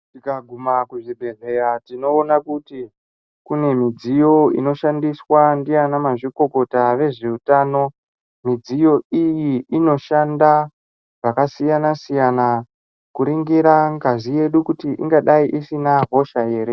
Tikaguma kuzvibhedhlera tinoona kuti kune midziyo inoshandiswa ndiana mazvikokota vezveutano. Midziyo iyi inoshanda zvakasiyana siyana kuringirwa ngazi yedu kuti ingadai isina hosha ere.